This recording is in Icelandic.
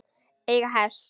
Eiga hest.